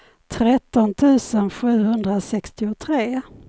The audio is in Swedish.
tretton tusen sjuhundrasextiotre